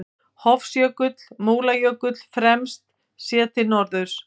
Hofsjökull, Múlajökull fremst, séð til norðurs.